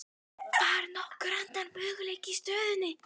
Var nokkur annar möguleiki í stöðunni?